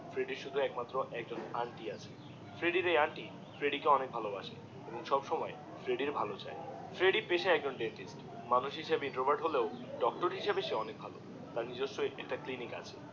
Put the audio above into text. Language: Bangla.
ফ্রেডির শুধু একমাত্র আন্টি আছে ফ্রেডি এর এই আন্টি ফ্রেডি কে অনেক ভালো বাসে এবং সব সময় ফ্রেডি এর চাই ফ্রেডি পেশায় একজন ডেন্টিস্ট মানূষ হিসাবে ইনট্রোভার্ট হলেও ডক্টর হিসাবে সে অনেক ভালো তার নিজস্ব একটি ক্লিনিক আছে